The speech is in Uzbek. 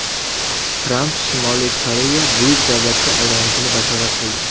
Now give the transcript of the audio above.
Tramp Shimoliy Koreya buyuk davlatga aylanishini bashorat qildi.